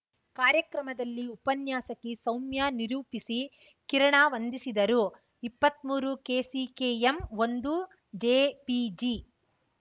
ಕಾರ್ಯಕ್ರಮದಲ್ಲಿ ಉಪನ್ಯಾಸಕಿ ಸೌಮ್ಯ ನಿರೂಪಿಸಿ ಕಿರಣ ವಂದಿಸಿದರು ಇಪ್ಪತ್ಮೂರುಕೆಸಿಕೆಎಂಒಂದುಜೆಪಿಜಿ